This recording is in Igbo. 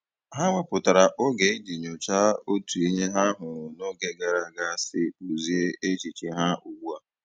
Ha wepụtara oge iji nyochaa otu ihe ha hụrụ n'oge gara aga si kpụzie echiche ha ugbu a.